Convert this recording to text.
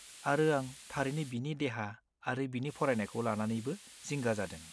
-आरो आं थारैनो बिनि देहा आरो बिनि फरायनायखौ लानानैबो जिंगा जादों।